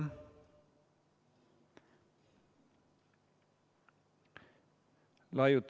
Ei ole kuulda!